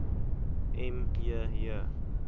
m j j